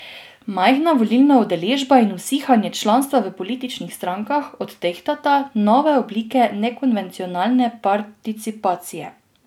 Majhna volilna udeležba in usihanje članstva v političnih strankah odtehtata nove oblike nekonvencionalne participacije.